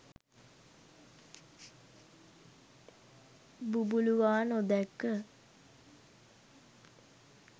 බුබුළුවා නොදැක්ක